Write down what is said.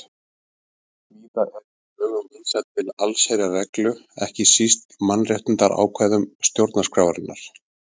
Víða er í lögum vísað til allsherjarreglu, ekki síst í mannréttindaákvæðum stjórnarskrárinnar.